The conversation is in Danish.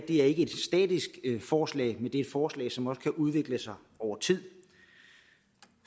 ikke er et statisk forslag men et forslag som også kan udvikle sig over tid